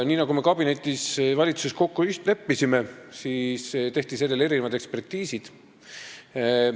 Nii nagu me valitsuskabinetis kokku leppisime, tehti sellele mitu ekspertiisi.